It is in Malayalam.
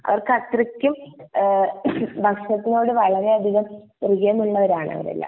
അവര്ക് അത്രക്കും ഏഹ് ഭക്ഷണത്തോട് വളരെ അതികം പ്രിയമുള്ളവരാണ് അവരെല്ലാം